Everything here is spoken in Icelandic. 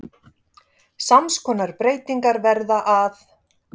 Sams konar breytingar verða að